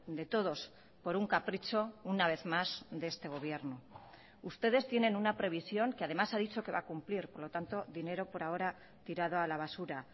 de todos por un capricho una vez más de este gobierno ustedes tienen una previsión que además ha dicho que va a cumplir por lo tanto dinero por ahora tirado a la basura